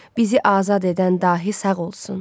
Bizi azad edən dahi sağ olsun.